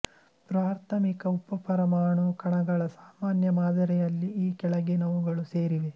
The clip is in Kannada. ಪ್ರಾಥಮಿಕ ಉಪಪರಮಾಣು ಕಣಗಳ ಸಾಮಾನ್ಯ ಮಾದರಿಯಲ್ಲಿ ಈ ಕೆಳಗಿನವುಗಳು ಸೇರಿವೆ